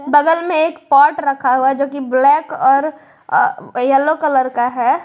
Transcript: बगल में एक पॉट रखा हुआ जो की ब्लैक और येलो कलर का है।